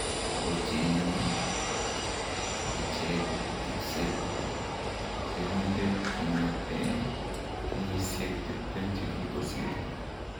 Takochengei iche kipsebwo sirunet kongetee kenyisiek tiptem chekikosirto